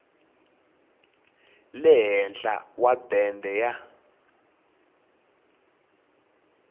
le henhla wa bende ya